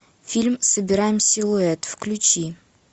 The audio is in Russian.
фильм собираем силуэт включи